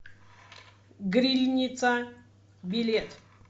грильница билет